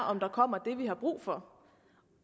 om der kommer dem vi har brug for